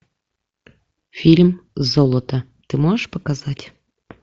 фильм золото ты можешь показать